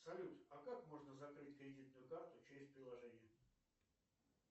салют а как можно закрыть кредитную карту через приложение